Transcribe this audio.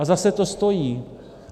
A zase to stojí.